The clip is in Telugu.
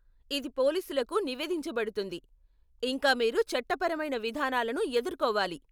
ఇది పోలీసులకు నివేదించబడుతుంది, ఇంకా మీరు చట్టపరమైన విధానాలను ఎదుర్కోవాలి.